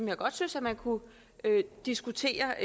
jeg godt synes at man kunne diskutere